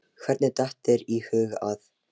Hvernig datt þér í hug að.